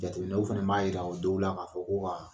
Jateminɛw fɛnɛ b'a yira o dow la ka fɔ ko ka